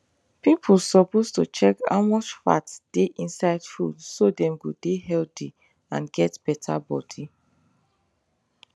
people suppose to check how much fat dey inside food so dem go dey healthy and get better body